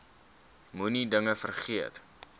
moenie dinge vergeet